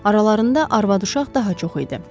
Aralarında arvad-uşaq daha çox idi.